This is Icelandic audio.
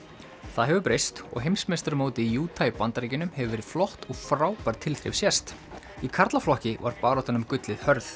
það hefur breyst og heimsmeistaramótið í Utah í Bandaríkjunum hefur verið flott og frábær tilþrif sést í karlaflokki var baráttan um gullið hörð